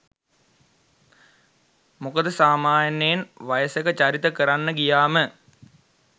මොකද සාමාන්‍යයෙන් වයසක චරිත කරන්න ගියාම